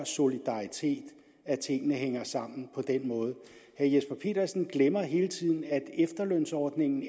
solidaritet at tingene hænger sammen på den måde herre jesper petersen glemmer hele tiden at efterlønsordningen